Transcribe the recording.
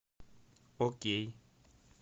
окей